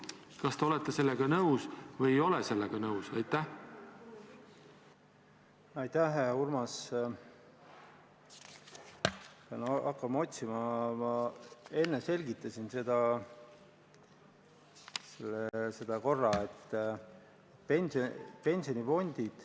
Kas te olete sellega nõus või ei ole sellega nõus?